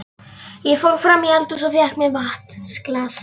Ég fór fram í eldhús og fékk mér vatnsglas.